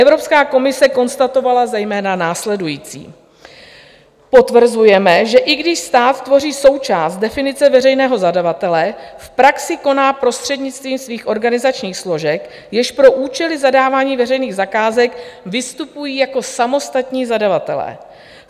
Evropská komise konstatovala zejména následující: "Potvrzujeme, že i když stát tvoří součást definice veřejného zadavatele, v praxi koná prostřednictvím svých organizačních složek, jež pro účely zadávání veřejných zakázek vystupují jako samostatní zadavatelé.